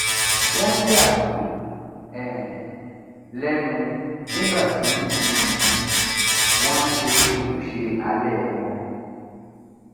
wọn yà mí um lẹnu nígbà tí um wọn ń ṣe ojúṣe alẹ wọn